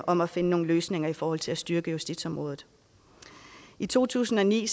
om at finde nogle løsninger i forhold til at styrke justitsområdet i to tusind og ni